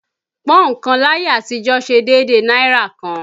Pọ́ùn kan láyé àtijọ́ ṣe déédéé náírà kan